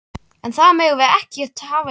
En það megum við einmitt ekki hafa í huga.